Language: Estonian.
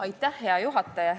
Aitäh, hea juhataja!